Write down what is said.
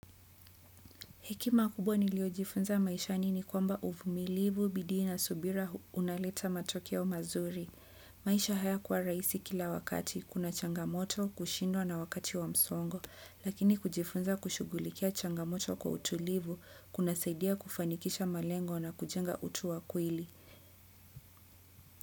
Hekima kubwa niliojifunza maishani ni kwamba uvumilivu bidii na subira unaleta matokeo mazuri. Maisha haya kuwa rahisi kila wakati, kuna changamoto, kushindwa na wakati wa msongo, lakini kujifunza kushugulikia changamoto kwa utulivu, kuna saidia kufanikisha malengo na kujenga utu wakweli.